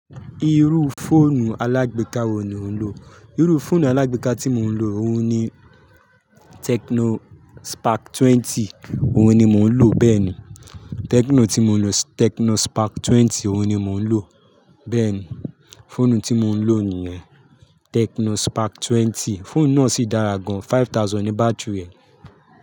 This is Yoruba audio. Irú fóònù alágbèéká wo ni ò ń lò? Irú fóònù alágbèéká tí mò ń lò, òun ni Techno spark 20. Òun ni mò ń lò, bẹ́ẹ̀ ni. Tecno tí mò ń lò, Tecno spark 20 òun ni mò ń lò. Bẹ́ẹ̀ ni, fóònù tí mò ń lò níyẹn Tecno spark 20. Fóònù náà sì dára gan-an, 5,000 ni bátírì rẹ̀.